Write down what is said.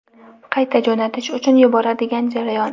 qayta jo‘natish uchun yuboradigan jarayon.